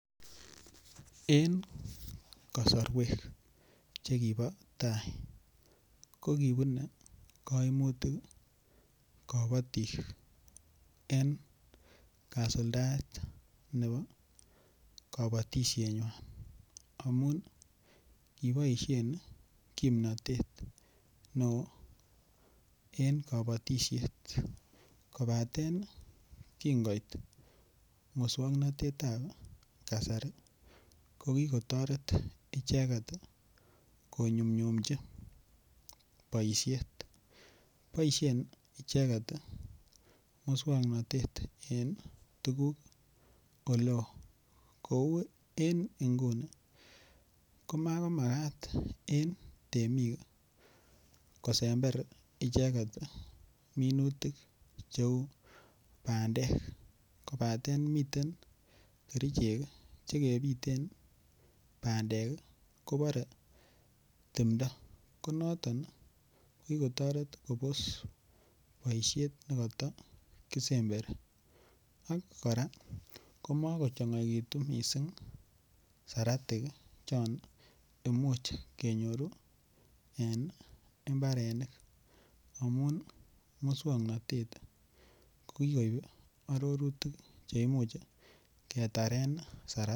En kosoruek chekibo tau kokibune koimutik kobotik en kasuldaet nebo kobotishenywan amun kiboishen komnotet neo en kobotishet kobaten kingoit muswoknotetab kasair kokikotoret icheket konyumnyumji boishet, boishen icheket muswoknotet en tuguk ole kou en inguni komakat en temik kosember icheket minutik cheu bandek kobaten miten keriche chekebiten bandek ii kobore timdo konoton kokikotoret kobos boishet nekoto kisemberi ok koraa komokochongoekitu siratik chon imuch kenyoru en imbarenik amun muswoknotet kokikoib ororutik cheimuch ketaren saratik.